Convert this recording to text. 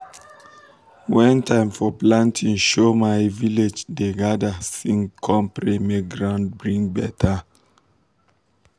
when um time for planting show my um village dey gather sing com pray make ground um bring better